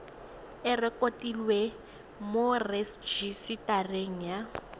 e rekotiwe mo rejisetareng ya